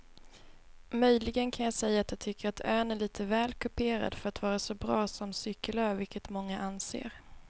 Möjligen kan jag säga att jag tycker att ön är lite väl kuperad för att vara så bra som cykelö vilket många anser.